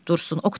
Dursun.